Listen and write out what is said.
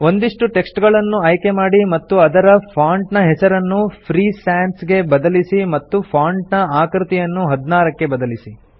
ಒಂದಿಷ್ಟು ಟೆಕ್ಸ್ಟ್ ಗಳನ್ನು ಆಯ್ಕೆ ಮಾಡಿ ಮತ್ತು ಇದರ ಫಾಂಟ್ ನ ಹೆಸರನ್ನು ಫ್ರೀ ಸಾನ್ಸ್ ಗೆ ಬದಲಿಸಿ ಮತ್ತು ಫಾಂಟ್ ನ ಆಕೃತಿಯನ್ನು 16 ಕ್ಕೆ ಬದಲಿಸಿ